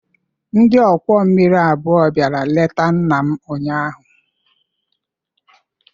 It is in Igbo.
Ndị ọkwọ mmiri abụọ bịara leta nna m ụnyaahụ.